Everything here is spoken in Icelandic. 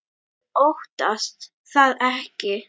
Ég óttast það ekki.